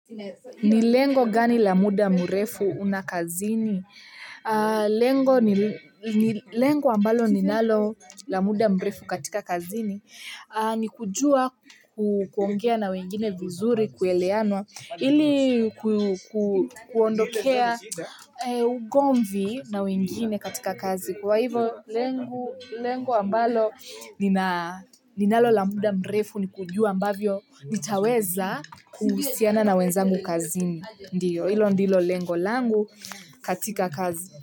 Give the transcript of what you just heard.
Ni lengo gani la muda mrefu una kazini? Lengo ambalo ninalo la muda mrefu katika kazini ni kujua kuongea na wengine vizuri kueleanwa ili kuondokea ugomvi na wengine katika kazi kwa hivo lengo ambalo ninalo la muda mrefu ni kujua ambavyo nitaweza kuhusiana na wenzangu kazini ndiyo ilo ndilo lengo langu katika kazi.